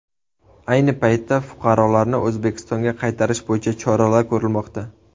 Ayni paytda fuqarolarni O‘zbekistonga qaytarish bo‘yicha choralar ko‘rilmoqda.